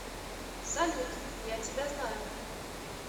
салют я тебя знаю